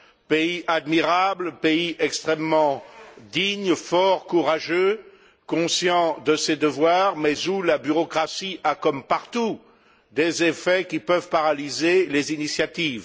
Pays admirable, pays extrêmement digne, fort, courageux, conscient de ses devoirs, mais où la bureaucratie a, comme partout, des effets qui peuvent paralyser les initiatives.